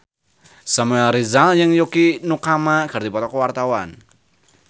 Samuel Rizal jeung Yukie Nakama keur dipoto ku wartawan